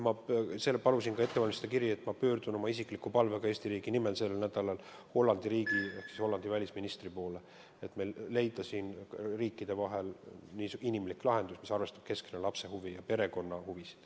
Ma palusin ka ette valmistada kirja, et pöördun sel nädalal oma isikliku palvega Eesti riigi nimel Hollandi riigi ehk Hollandi välisministri poole, et leida riikide vahel inimlik lahendus, mis arvestaks ja seaks keskmesse lapse ja perekonna huvid.